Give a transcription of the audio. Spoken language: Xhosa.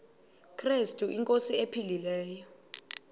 krestu inkosi ephilileyo